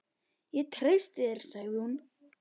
Ég treysti þér sagði hún.